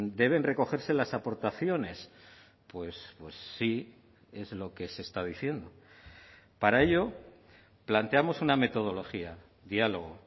deben recogerse las aportaciones pues sí es lo que se está diciendo para ello planteamos una metodología diálogo